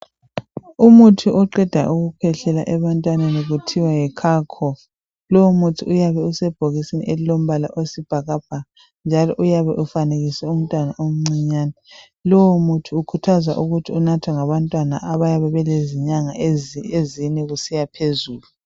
Umuthi oqeda ukukhwehlela ebantwaneni kuthiwa yiCalcough lowu muthi uyabe usebhokisini elilombala oyisibhakabhaka njalo uyabe ufanekiswe umntwana omncinyane lowu muthi kukhuthazwa ukuba unathwe ngabantwana abalezinyanga ezine kusiyaphezulu